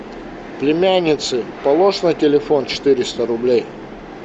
племяннице положь на телефон четыреста рублей